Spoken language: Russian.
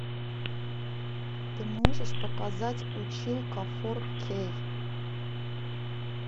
ты можешь показать училка фор кей